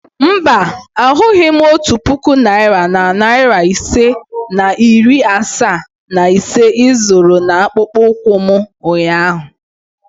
Mba, ahụghị m otu puku naira na narị isii na iri asaa na ise ị zoro n'akpụkpọ ụkwụ m ụnyahụ.